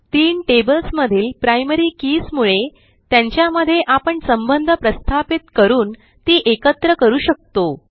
तीन टेबल्समधील primary keys मुळे त्यांच्यामध्ये आपण संबंध प्रस्थापित करून ती एकत्र करू शकतो